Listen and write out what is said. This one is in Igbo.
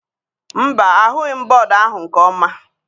Mba, ahụghị m bọọdụ ahụ nke ọma.